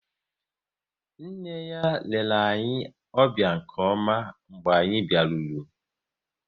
Nne ya lere anyị ọbịa nke ọma mgbe anyị biaruru